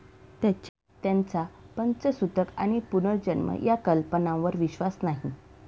त्यांचा पंचसुतक आणि पुनर्जन्म या कल्पनावर विश्वास नाही.